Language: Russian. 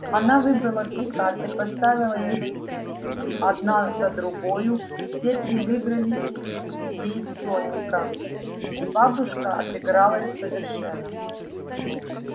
она выбрала три карты поставила их одна за другою все три выиграли ей соника и бабушка отыгралась совершенно